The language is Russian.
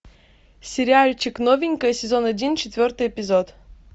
сериальчик новенькая сезон один четвертый эпизод